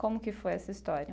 Como que foi essa história?